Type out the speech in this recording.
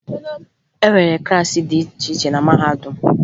E nwere klaasị dị iche iche na mahadum